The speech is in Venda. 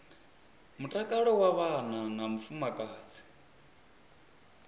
mutakalo wa vhana na vhafumakadzi